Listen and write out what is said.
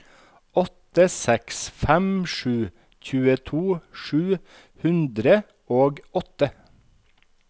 åtte seks fem sju tjueto sju hundre og åtte